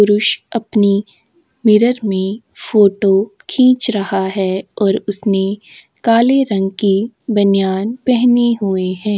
पुरष अपनी मिरर में फ़ोटो खिछ रहा है और उसनें काले रंग की बनियान पहिनी हुई है।